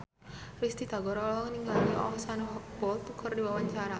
Risty Tagor olohok ningali Usain Bolt keur diwawancara